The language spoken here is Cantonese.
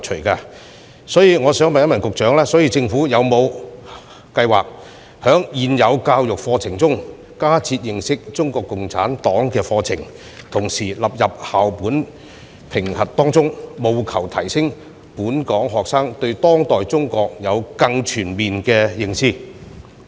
就此，我想問局長，政府有否計劃在現行教育加設認識中國共產黨的課程，並將之納入校本評核，令本港學生對當代中國有更全面的認知？